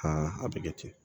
a bɛ kɛ ten